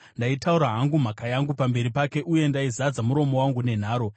Ndaitaura hangu mhaka yangu pamberi pake, uye ndaizadza muromo wangu nenharo.